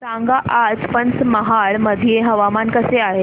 सांगा आज पंचमहाल मध्ये हवामान कसे आहे